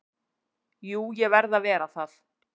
Jú, ég verð að vera það.